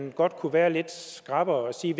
vi godt kunne være lidt skrappere og sige